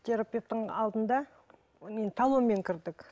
терапевтің алдында талонмен кірдік